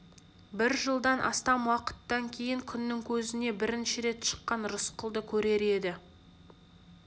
бір жылдан астам уақыттан кейін күннің көзіне бірінші рет шыққан рысқұлды көрер еді